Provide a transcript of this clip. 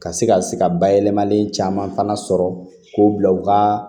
Ka se ka se ka bayɛlɛmalen caman fana sɔrɔ k'o bila u ka